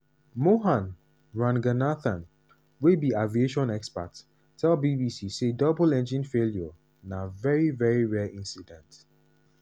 mohan ranganathan wey be aviation expert tell bbc say double engine failure na "veri veri rare incident".